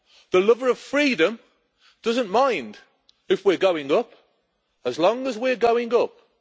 The lover of freedom doesn't mind if we're going up, as long as we're going up.